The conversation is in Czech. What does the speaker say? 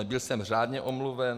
Byl jsem řádně omluven.